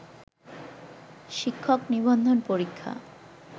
শিক্ষক নিবন্ধন পরীক্ষা